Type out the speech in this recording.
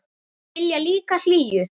Vilja líka hlýju.